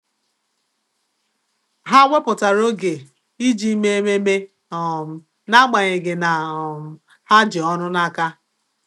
Há wèpụ̀tárà oge iji mèé ememe um n’ágbànyéghị́ na um há jì ọ́rụ́ n’áká.